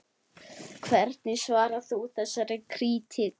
Hvernig svarar þú þessari krítík?